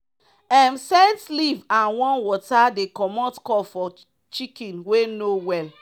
um scent leaf and warm water dey commot cough for chicken wey no well.